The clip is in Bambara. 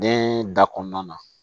Den da kɔnɔna na